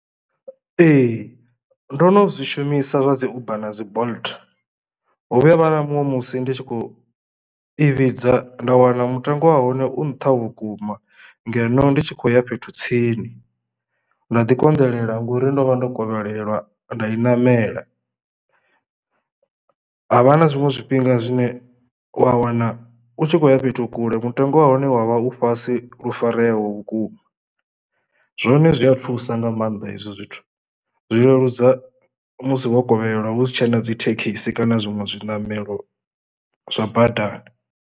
Ee ndo no zwi shumisa zwa dzi Uber na dzi Bolt ho vhuya ha vha na muṅwe musi ndi tshi khou i vhidza nda wana mutengo wa hone u nṱha vhukuma ngeno ndi tshi khou ya fhethu tsini nda ḓi konḓelela ngori ndo vha ndo kovhelwa nda i namela. Havha na zwiṅwe zwifhinga zwine wa wana u tshi khoya fhethu kule mutengo wa hone wa vha u fhasi lu fareaho vhukuma zwone zwi a thusa nga mannḓa hezwo zwithu zwi leludza musi wo kovhelwa hu si tshena dzi thekhisi kana zwiṅwe zwiṋamelo zwa badani.